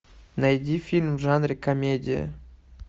найди фильм в жанре комедия